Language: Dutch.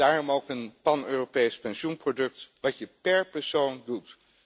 op verdienen. Daarom wil het ook een pan Europees pensioenproduct dat je per persoon